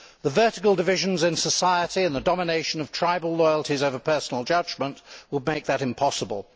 The vertical divisions in society and the domination of tribal loyalties over personal judgment would make that impossible.